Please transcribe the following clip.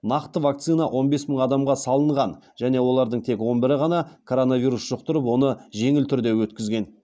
нақты вакцина он бес мың адамға салынған және олардың тек он бірі ғана коронавирус жұқтырып оны жеңіл түрде өткізген